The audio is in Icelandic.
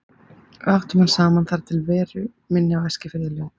Við áttum hann saman þar til veru minni á Eskifirði lauk.